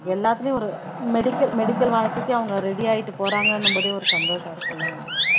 எல்லாத்துலயும் ஒரு medical medical வாழ்க்கைக்கு அவங்க ready ஆயிட்டு போறாங்கன்னும்போது ஒரு சந்தோஷம்